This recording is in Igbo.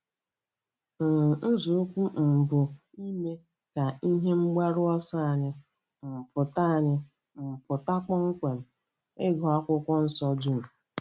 um Nzọụkwụ um mbụ bụ ime ka ihe mgbaru ọsọ anyị um pụta anyị um pụta kpọmkwem—ịgụ Akwụkwọ Nsọ dum.